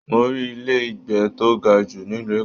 Mo rí ilé ìgbé tó ga jù nílu Èkó.